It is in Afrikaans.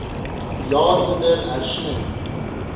jaar onder hersiening